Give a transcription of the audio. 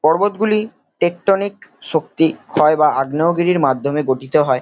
পর্বতগুলি tectonic শক্তি ক্ষয় বা আগ্নেয়গিরির মাধ্যমে গঠিত হয়।